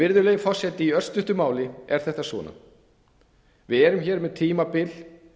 virðulegi forseti í örstuttu máli er þetta svona við erum hér með tímabil